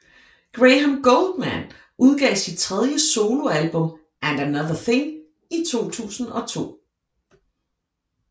Graham Gouldman udgav sit tredje soloalbum And Another Thing i 2002